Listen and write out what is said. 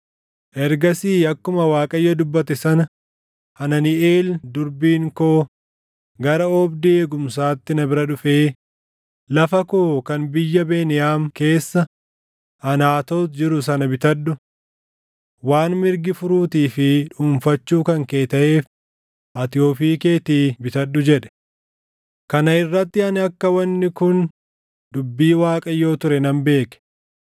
“Ergasii akkuma Waaqayyo dubbate sana Hananiʼeel durbiin koo gara oobdii eegumsaatti na bira dhufee, ‘Lafa koo kan biyya Beniyaam keessa Anaatoot jiru sana bitadhu. Waan mirgi furuutii fi dhuunfachuu kan kee taʼeef ati ofii keetii bitadhu’ jedhe. “Kana irratti ani akka wanni kun dubbii Waaqayyoo ture nan beeke;